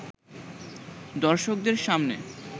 দর্শকদের সামনে